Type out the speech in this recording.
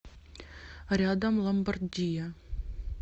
рядом ломбардия